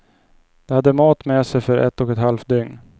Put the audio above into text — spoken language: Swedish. De hade mat med sig för ett och ett halvt dygn.